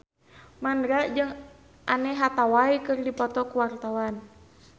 Mandra jeung Anne Hathaway keur dipoto ku wartawan